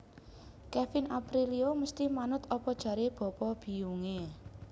Kevin Aprilio mesti manut opo jare bapa biyung e